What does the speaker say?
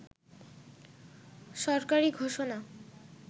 সরকারি ঘোষণা